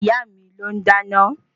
Ìyáà mi ló ń dáná